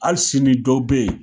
Hali sini dɔw bɛ ye